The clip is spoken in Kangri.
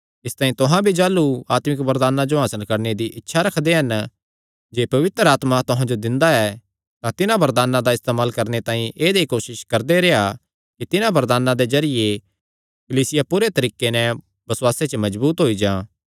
इसतांई तुहां भी जाह़लू आत्मिक वरदानां जो हासल करणे दी इच्छा रखदे हन जेह्ड़े पवित्र आत्मा तुहां जो दिंदा ऐ तां तिन्हां वरदानां दा इस्तेमाल करणे तांई ऐदई कोसस करदे रेह्आ कि तिन्हां वरदानां दे जरिये कलीसिया पूरे तरीके नैं बसुआसे च मजबूत होई जां